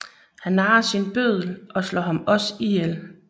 Han narrer sin bøddel og slår ham også ihjel